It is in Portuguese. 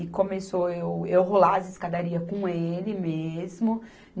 E começou eu, eu rolar as escadarias com ele mesmo.